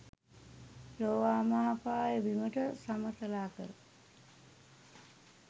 ලෝවාමහාපාය බිමට සමතලා කර